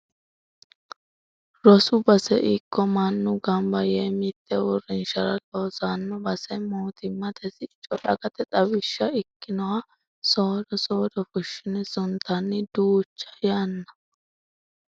Rosu base ikko mannu gamba yee mite uurrinshara loosano basera mootimmate sicco dagate xawishsha ikkinoha soodo soodo fushine suntanni duucha yanna.